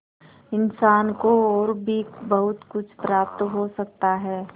इंसान को और भी बहुत कुछ प्राप्त हो सकता है